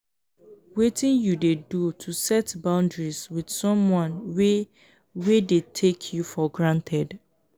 wetin you dey do to set boundaries with someone wey wey dey take you for granted?